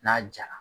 N'a jara